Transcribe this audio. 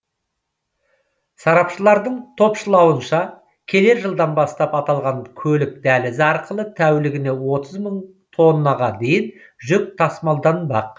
сарапшылардың топшылауынша келер жылдан бастап аталған көлік дәлізі арқылы тәулігіне отыз мың тоннаға дейін жүк тасмалданбақ